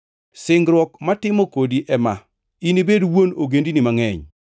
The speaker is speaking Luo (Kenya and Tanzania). “Singruok matimo kodi ema: Inibed wuon ogendini mangʼeny.